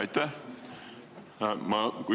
Aitäh!